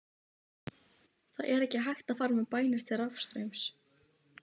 Það er ekki hægt að fara með bænir til rafstraums.